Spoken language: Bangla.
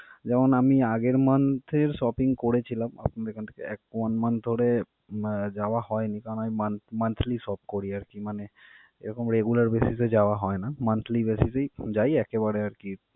যেমন আমি আগের month এর shopping করেছিলাম আপনাদের ওখান থেকে one month আহ যাওয়া হয়নি কারণ আমি monthly shop করি. আরকি মানে এরকম regular basis এ যাওয়া হয় না. monthly basis এই যাই একেবারে আরকি।